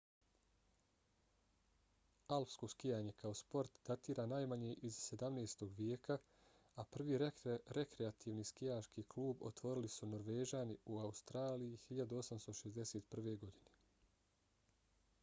alpsko skijanje kao sport datira najmanje iz 17. vijeka a prvi rekreativni skijaški klub otvorili su norvežani u australiji 1861. godine